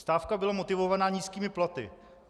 Stávka byla motivovaná nízkými platy.